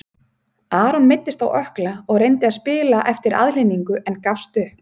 Aron meiddist á ökkla og reyndi að spila eftir aðhlynningu en gafst upp.